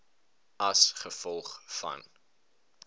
a g v